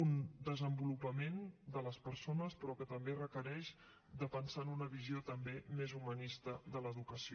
un desenvolupament de les persones però que també requereix pensar en una visió també més humanista de l’educació